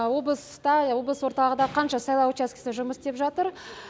облыста облыс орталығында қанша сайлау учаскісі жұмыс істеп жатыр